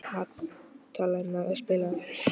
Matthea, spilaðu tónlist.